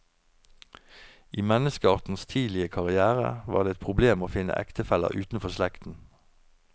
I menneskeartens tidlige karrière var det et problem å finne ektefeller utenfor slekten.